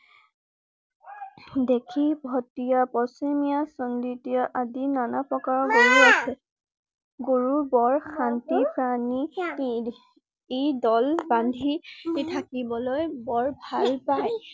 দেখি ভটিয়া পশ্চিমীয়া আদি নানা প্ৰকাৰৰ গৰু আছে। গৰুৰ বোৰ শান্তি প্ৰাণী । ই দল বান্ধি থাকিবলৈ বৰ ভাল পাই।